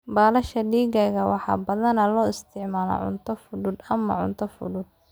Baalasha digaaga waxaa badanaa loo isticmaalaa cunto fudud ama cunto fudud.